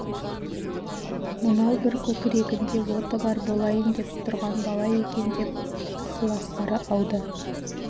мынау бір көкірегінде оты бар болайын деп тұрған бала екен деп ықыластары ауды